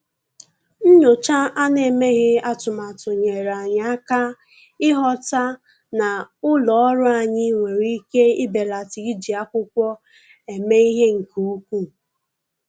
Nyòchá à nà-èméghị́ atụ́matụ nyèèrè anyị́ áká ị́ghọ́tà na ụ́lọ́ ọ́rụ́ anyị́ nwere ike ibèlàtá iji ákwụ́kwọ́ èmé ìhè nke ukwuu.